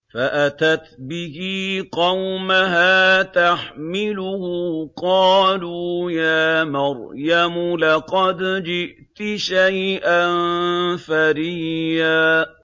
فَأَتَتْ بِهِ قَوْمَهَا تَحْمِلُهُ ۖ قَالُوا يَا مَرْيَمُ لَقَدْ جِئْتِ شَيْئًا فَرِيًّا